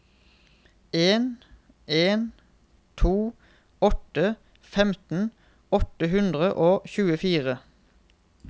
en en to åtte femten åtte hundre og tjuefire